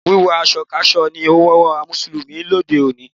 Wíwọ aṣọ káṣọ ni àwọn Mùsùlùmí lòdì sí.